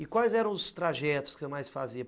E quais eram os trajetos que você mais fazia?